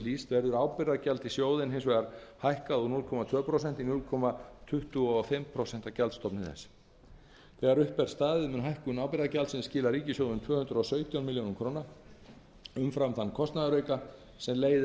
hlýst verður ábyrgðargjald í sjóðinn hækkað úr núll komma tvö prósent í núll komma tuttugu og fimm prósent af gjaldstofni þess þegar upp er staðið mun hækkun ábyrgðargjaldsins skila ríkissjóði um tvö hundruð og sautján milljónum króna umfram þann kostnaðarauka sem leiðir af